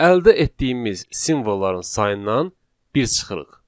Əldə etdiyimiz simvolların sayından bir çıxırıq.